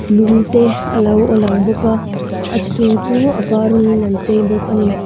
lungte a lo lang bawk a a chung chu a var rawng in an chei bawk a ni.